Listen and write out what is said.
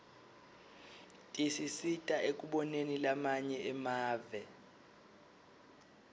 tisisita ekuboneni lamanye emave